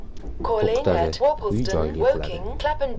O‘qitadi, uy-joyli qiladi.